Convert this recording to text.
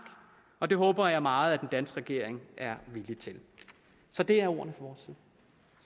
og det håber jeg meget den danske regering er villig til så det er ordene